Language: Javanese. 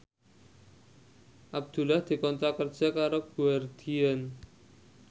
Abdullah dikontrak kerja karo Guardian